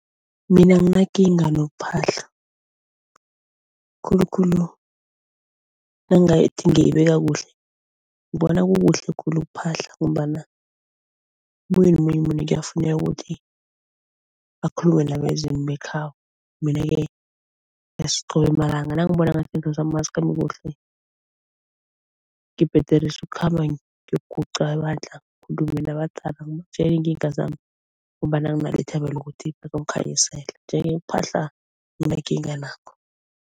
Mina anginakinga nokuphahla, khulukhulu nangathi ngiyibeka kuhle ngibona kukuhle khulu ukuphahla ngombana omunye nomunye umuntu kuyafuneka ukuthi akhulume nabezimu bekhabo. Mina ke malanga nangibona ngathi izinto zami azikhambi kuhle, ngibhederisa ukukhamba ngiyoguqa ebandla abadala ngibatjele iinkinga zami ngombana nginalo ithemba lokuthi bazongikhanyisela, nje-ke ukuphahla anginakinga nakho.